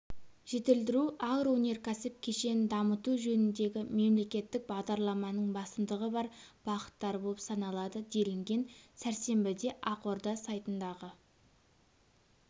жетілдіру агроөнеркәсіп кешенін дамыту жөніндегі мемлекеттік бағдарламаның басымдығы бар бағыттары болып саналады делінген сәрсенбідеақорда сайтындағы